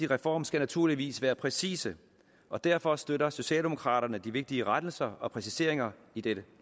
reform skal naturligvis være præcise og derfor støtter socialdemokraterne de vigtige rettelser og præciseringer i dette